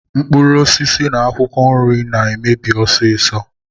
Mkpụrụosisi na akwụkwọ nri na-emebi ọsịsọ.